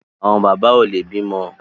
Àwọn bàbá ò lè bímọ